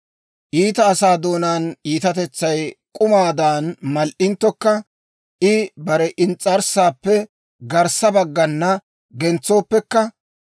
«Iita asaa doonaan iitatetsay k'umaadan mal"inttokka, I bare ins's'arssaappe garssa baggana gentsooppekka,